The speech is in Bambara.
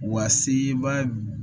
Wa seba